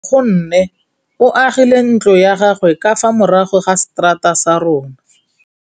Nkgonne o agile ntlo ya gagwe ka fa morago ga seterata sa rona.